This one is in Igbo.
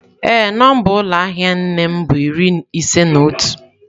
Ee, nọmba ụlọ ahịa nne m bu iri ise na otu.